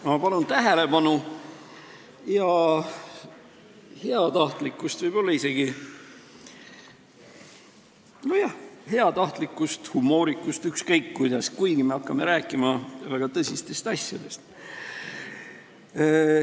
Ma palun tähelepanu ja heatahtlikkust, võib-olla isegi ..., nojah, heatahtlikkust, humoorikust, ükskõik mida, kuigi me hakkame rääkima väga tõsistest asjadest.